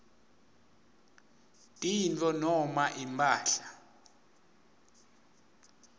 tintfo noma imphahla